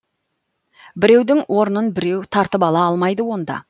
біреудің орнын біреу тартып ала алмайды онда